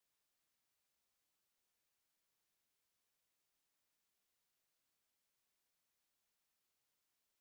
ғасырдың басында петропавл қалалық кітапханасы қалалық асхана шайханада орналасты